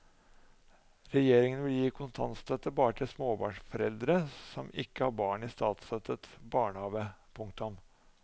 Regjeringen vil gi kontantstøtte bare til småbarnsforeldre som ikke har barn i statsstøttet barnehave. punktum